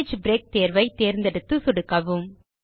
page break தேர்வை தேர்ந்தெடுத்து சொடுக்கவும்